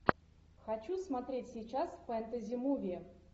хочу смотреть сейчас фэнтези муви